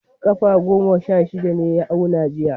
Kafa goma sha shida ne ya auna jiya.